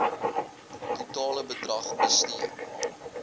totale bedrag bestee